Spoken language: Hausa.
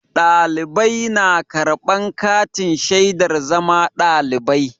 Ɗalibai na karɓan katin shaidar zama ɗalibai.